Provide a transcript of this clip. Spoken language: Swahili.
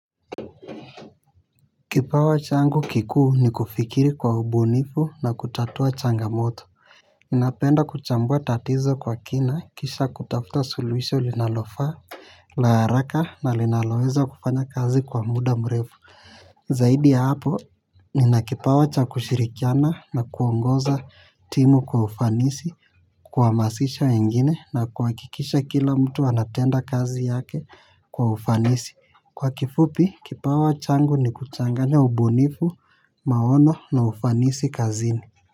Kipawa changu kikuu ni kufikiri kwa ubunifu na kutatua changamoto. Ninapenda kuchambua tatizo kwa kina kisha kutafuta suluhisho linalofa la haraka na linaloweza kufanya kazi kwa muda mrefu. Zaidi ya hapo nina kipawa cha kushirikiana na kuongoza timu kwa ufanisi. Kuhamasisha wengine na kuhakikisha kila mtu anatenda kazi yake kwa ufanisi. Kwa kifupi, kipawa changu ni kuchanganya ubunifu, maono na ufanisi kazini.